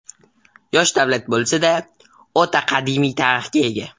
Yosh davlat bo‘lsa-da, o‘ta qadimiy tarixga ega.